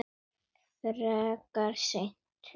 Frekar seint.